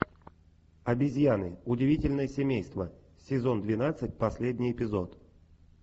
обезьяны удивительное семейство сезон двенадцать последний эпизод